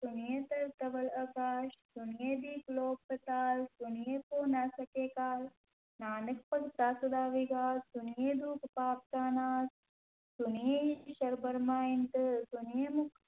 ਸੁਣਿਐ ਧਰਤਿ ਧਵਲ ਆਕਾਸ, ਸੁਣਿਐ ਦੀਪ ਲੋਅ ਪਾਤਾਲ, ਸੁਣਿਐ ਪੋਹਿ ਨ ਸਕੈ ਕਾਲੁ, ਨਾਨਕ ਭਗਤਾ ਸਦਾ ਵਿਗਾਸੁ, ਸੁਣਿਐ ਦੂਖ ਪਾਪ ਕਾ ਨਾਸੁ, ਸੁਣਿਐ ਈਸਰੁ ਬਰਮਾ ਇੰਦੁ, ਸੁਣਿਐ ਮੁਖਿ